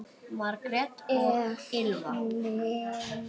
Margrét og Elfa.